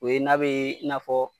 O ye n'a bee i n'a fɔ